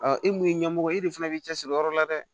e mun ye ɲɛmɔgɔ ye e de fana b'i cɛ siri o yɔrɔ la dɛ